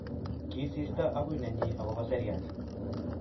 Kisirto agui nenyi agoba seriat